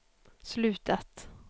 slutat